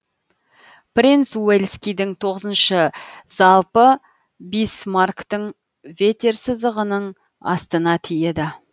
принц уэльскийдін тоғызыншы залпы бисмарктін ватерсызығынын астына тиеді